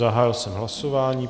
Zahájil jsem hlasování.